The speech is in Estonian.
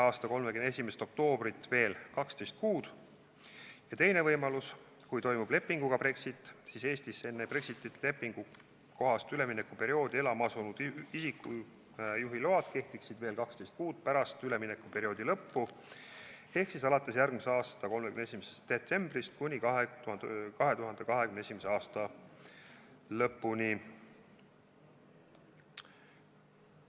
a 31. oktoobrit veel 12 kuud; ja teiseks, kui toimub leppega Brexit, siis Eestisse enne Brexiti lepingu kohast üleminekuperioodi elama asunud isiku juhiluba kehtiks veel 12 kuud pärast üleminekuperioodi lõppu ehk alates järgmise aasta 31. detsembrist kuni 2021. aasta lõpuni.